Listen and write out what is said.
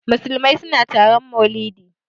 Musulmai suna taron maulidi.